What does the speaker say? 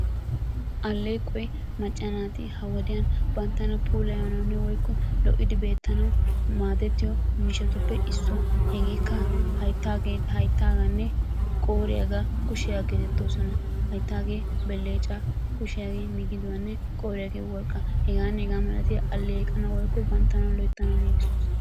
Aleeqoy macca naati ha wodiyan banttana puullayanawunne woykko lo'idi beettanawu maadettiyo mishshatuppee issuwa. Hegeekka hayttaganne qooriyaagaa, kushshiyaagaa geetetoosona. Hayttaagee beleccaa, kushshiyaagee migiduwanne qoriyaagee worqqqaa hegaanne hegaa malatiya aleqanawu woykko banttana loyttanawu giigisosona.